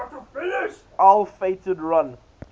ill fated run